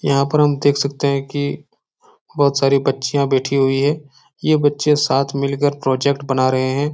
यहाँ पर हम देख सकते है की बहुत सारी बच्चियां बैठी हुई है। ये बच्चे साथ मिलकर प्रोजेक्ट बना रहे है।